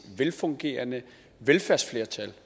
velfungerende velfærdsflertal